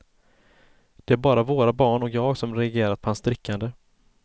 Det är bara våra barn och jag som reagerat på hans drickande.